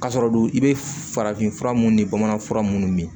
Ka sɔrɔ dun i bɛ farafin fura mun ni bamanan fura munnu mi min